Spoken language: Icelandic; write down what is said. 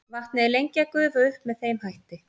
vatnið er lengi að gufa upp með þeim hætti